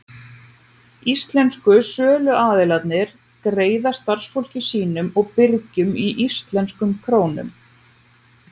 Íslensku söluaðilarnir greiða starfsfólki sínu og birgjum í íslenskum krónum.